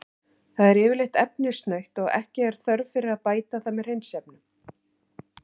Það er yfirleitt efnasnautt og ekki er þörf fyrir að bæta það með hreinsiefnum.